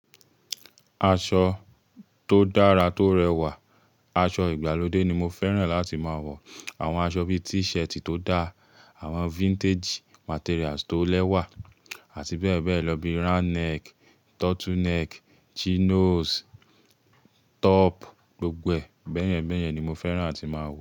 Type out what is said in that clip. Aṣọ tó dára tó rẹwà, aṣọ ìgbàlódé ni mo fẹ́ràn láti máa wọ̀. Àwọn aṣọ bíi t-shirt tó da, àwọn vintage materials tó lẹ́wà àti bẹ́ẹ̀ bẹ́ẹ̀ lọ bi round neck, turtle neck, chinos, top, gbogbo ẹ̀ bẹ́yẹn bẹ́yẹn ni mo fẹ́ràn àti máa wọ̀